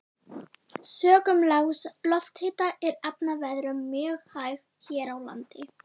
Sökum lágs lofthita er efnaveðrun mjög hæg hér á landi.